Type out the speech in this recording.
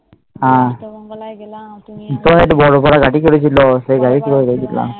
হম তার পর গেলাম